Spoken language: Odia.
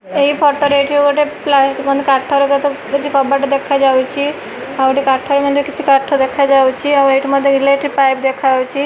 ଏହି ଫଟୋ ରେ ଏଠି ଗୋଟେ ପ୍ଲେସ ମଧ୍ୟ କାଠର କିଛି କବାଟ ଦେଖାଯାଉଛି ଆଉ କାଠର ମଧ୍ୟ କିଛି କାଠ ଦେଖାଯାଉଛି ଆଉ ଏଠି ମଧ୍ୟ ଏଲେକ୍ଟ୍ରିକ ପାଇପ ଦେଖାଯାଉଛି।